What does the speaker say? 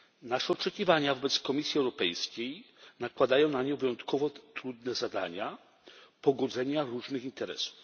Nasze oczekiwania wobec Komisji Europejskiej nakładają na nią wyjątkowo trudne zadania pogodzenia różnych interesów.